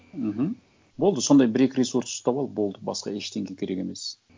мхм болды сондай бір екі ресурс ұстап ал болды басқа ештеңе керек емес